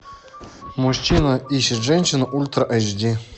мужчина ищет женщину ультра аш ди